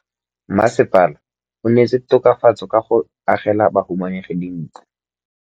Mmasepala o neetse tokafatsô ka go agela bahumanegi dintlo.